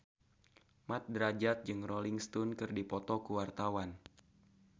Mat Drajat jeung Rolling Stone keur dipoto ku wartawan